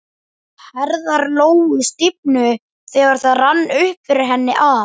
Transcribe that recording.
Herðar Lóu stífnuðu þegar það rann upp fyrir henni að